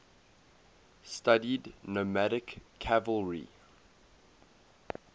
studied nomadic cavalry